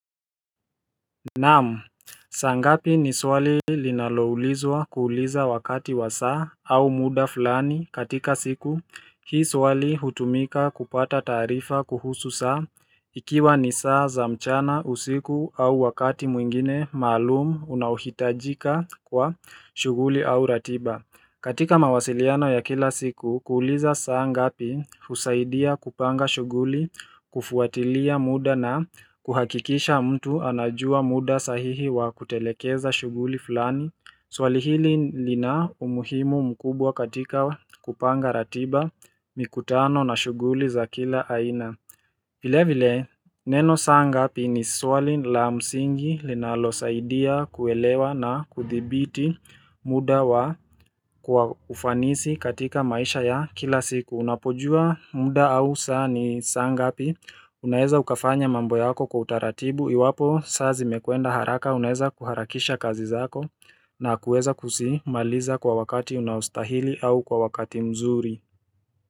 Naamu, saa ngapi ni swali linaloulizwa kuuliza wakati wa saa au muda fulani katika siku Hii swali hutumika kupata taarifa kuhusu saa ikiwa ni saa za mchana usiku au wakati mwingine maalumu unahohitajika kwa shughuli au ratiba katika mawasiliano ya kila siku, kuuliza saangapi usaidia kupanga shughuli, kufuatilia muda na kuhakikisha mtu anajua muda sahihi wa kutelekeza shuguli fulani. Swali hili lina umuhimu mkubwa katika kupanga ratiba, mikutano na shuguli za kila aina. Vile vile, neno saangapi ni swali la msingi linalo saidia kuelewa na kuthibiti muda wa kwa ufanisi katika maisha ya kila siku. Unapojua muda au saa ni sangapi, unaeza ukafanya mambo yako kwa utaratibu, iwapo saa zimekwenda haraka, unaeza kuharakisha kazi zako na kueza kusi maliza kwa wakati unaostahili au kwa wakati mzuri.